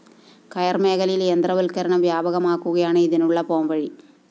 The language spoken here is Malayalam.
കയര്‍ മേഖലയില്‍ യന്ത്രവത്കരണം വ്യാപകമാക്കുകയാണ് ഇതിനുള്ള പോംവഴി